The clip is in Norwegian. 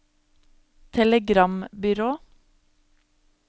telegrambyrå